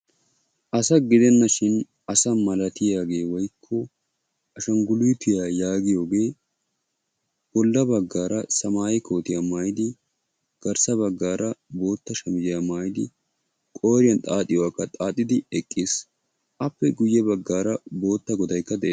Asa gidenashin asa malattiyaage woykko ashanguluuttiya yaagiyoge bolla baggara semeeye kootiya maayidi garssa baggaara bootta shamiziyaa maayidi qooriyan xaaxiyogakka xaaxidi eqqiis. appe guye baggaara bootta goddaykka de'ees.